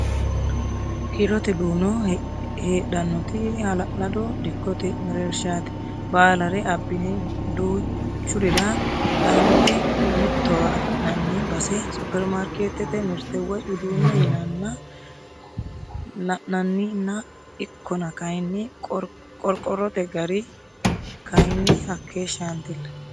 Hirote duuno heedhanoti hala'lado dikkote mereershati baallare abbine duuchurira dange mittowa affi'nanni base superimaarketete mirte woyi uduune yinanna la'naninna ikkonna kayinni qorqortote gari kayinni hakeeshshatilla.